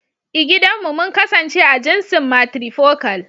I gidan mu mun kasance a jinsin "Matrifocal ".